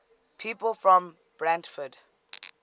people from brantford